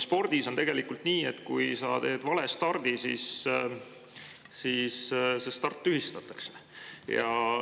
Spordis on nii, et kui sa teed valestardi, siis see start tühistatakse.